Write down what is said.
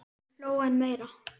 Hún hló enn meira.